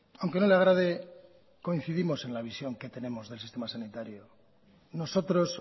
aunque no le agrade coincidimos en la visión que tenemos del sistema sanitario nosotros